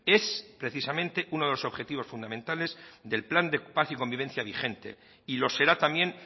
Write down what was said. es precisamente uno de los objetivos fundamentales del plan de paz y convivencia vigente y lo será también